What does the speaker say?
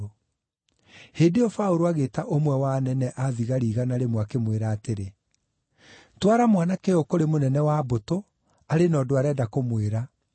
Hĩndĩ ĩyo Paũlũ agĩĩta ũmwe wa anene a thigari igana rĩmwe, akĩmwĩra atĩrĩ, “Twara mwanake ũyũ kũrĩ mũnene wa mbũtũ; arĩ na ũndũ arenda kũmwĩra.”